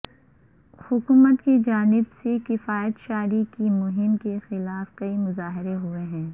حکومت کی جانب سے کفایت شعاری کی مہم کے خلاف کئی مظاہرے ہوئے ہیں